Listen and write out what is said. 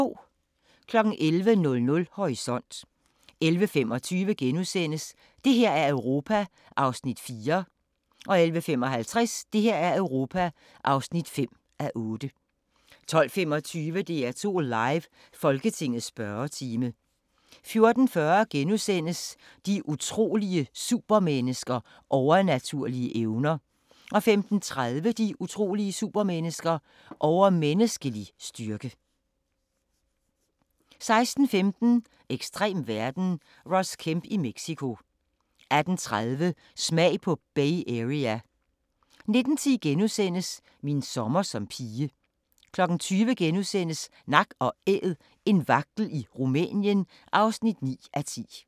11:00: Horisont 11:25: Det her er Europa (4:8)* 11:55: Det her er Europa (5:8) 12:25: DR2 Live: Folketingets spørgetime 14:40: De utrolige supermennesker – Overnaturlige evner * 15:30: De utrolige supermennesker - Overmenneskelig styrke 16:15: Ekstrem verden - Ross Kemp i Mexico 18:30: Smag på Bay Area 19:10: Min sommer som pige * 20:00: Nak & Æd – en vagtel i Rumænien (9:10)*